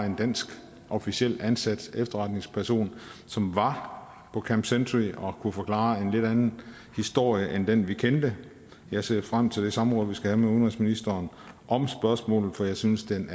en dansk officielt ansat efterretningsperson som var på camp century og kunne forklare en lidt anden historie end den vi kendte jeg ser frem til det samråd vi skal have med udenrigsministeren om spørgsmålet for jeg synes den